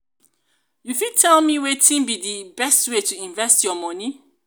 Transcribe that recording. you fit tell me wetin be di best way to invest your money?